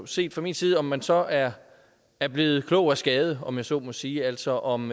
set fra min side om man så er er blevet klog af skade om jeg så må sige altså om